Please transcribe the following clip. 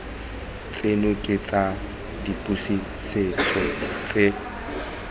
tseno ke tsa dipotsiso tse